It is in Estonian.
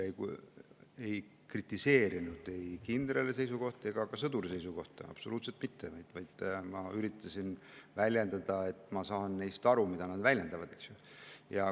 Esiteks, ma ei kritiseerinud ei kindrali ega ka sõduri seisukohta, absoluutselt mitte, vaid ma üritasin väljendada, et ma saan neist aru, sellest, mida nad väljendavad.